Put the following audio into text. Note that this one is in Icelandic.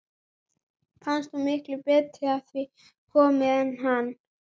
Fannst hún miklu betur að því komin en hann.